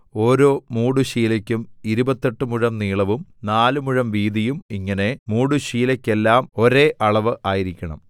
ഓരോ മൂടുശീലയ്ക്കും ഇരുപത്തെട്ട് മുഴം നീളവും നാല് മുഴം വീതിയും ഇങ്ങനെ മൂടുശീലയ്ക്കെല്ലാം ഒരേ അളവ് ആയിരിക്കണം